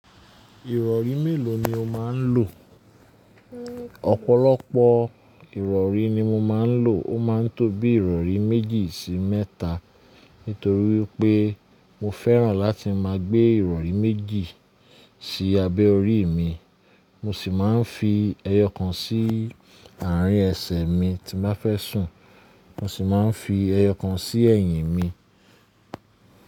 Ìrọ̀rí mélòó ni o máa ń lò? Ọ̀pọ̀lọpọ̀ ìrọ̀rí ni mo máa ń lò, ó máa ń tó bii ìrọ̀rí méjì sí mẹ́ta. Nítorí pé mo fẹ́ràn láti máa gbé ìrọ̀rí méjì sí abẹ́ orí mi, mo sì máa ń fi ẹyọ kan sí àárín ẹsẹ̀ mi tí n ba fẹ́ sùn, mo sì máa ń fi ẹyọkan sí ẹ̀yìn mi.